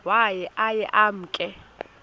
waye aye emke